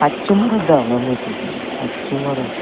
passo morot deyongye mui tutel passo morot.